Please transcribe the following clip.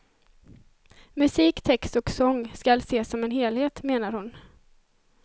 Musik, text och sång skall ses som en helhet, menar hon.